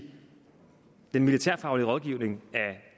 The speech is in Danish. den militærfaglige rådgivning af